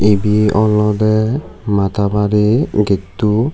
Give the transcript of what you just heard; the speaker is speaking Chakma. ibe olode mata bari getto.